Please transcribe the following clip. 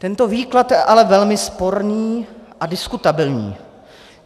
Tento výklad je ale velmi sporný a diskutabilní.